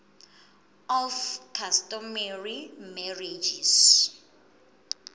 of customary marriages